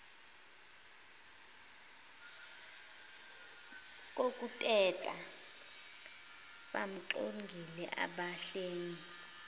kokuteta bamxilongile abahlengi